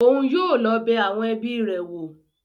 Oun yóò lọ bẹ awọn ẹbi rẹ wo